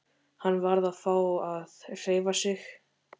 Hann varð að fá að hreyfa sig.